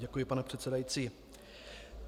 Děkuji, pane předsedající.